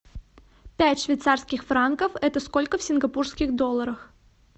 пять швейцарских франков это сколько в сингапурских долларах